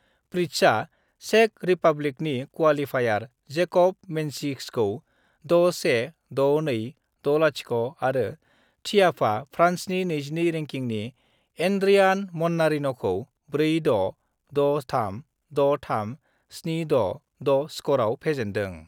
प्रीटसआ चेक रिपाब्लिकनि qualifier Jacob मेन्सिसखौ 616260 आरो थियाफआ फ्रान्सनि 22 रेंकिनि एन्ड्रियान मान्नारिन 'खौ 4-6, 6-3, 6-3, 7-6(6) स्करआव फेजेन्दों I